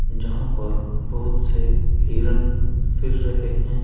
जहां पर बहुत से हिरण फिर रहे हैं।